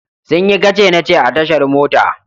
Sun yi kace-nace a tashar mota.